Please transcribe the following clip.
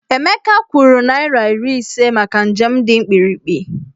Emeka kwụrụ naịra iri ise maka njem dị mkpirikpi.